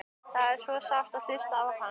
Það er svo sárt að hlusta á hann.